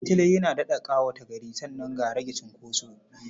Shataletale yana daɗa ƙawata gari sannan ga rage cunkoso.